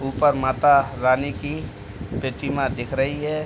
उपर माता रानी की प्रतिमा दिख रही है।